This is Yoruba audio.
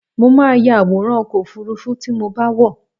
Mo máa ya àwòrán ọkọ̀-òfurufú tí mo bá wọ̀.